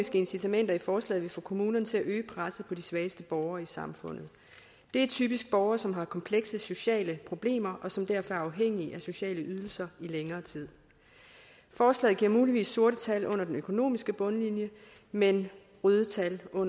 incitamenter i forslaget vil få kommunerne til at øge presset på de svageste borgere i samfundet det er typisk borgere som har komplekse sociale problemer og som derfor er afhængige af sociale ydelser i længere tid forslaget giver muligvis sorte tal på den økonomiske bundlinje men røde tal på